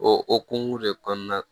O okumu de kɔnɔna na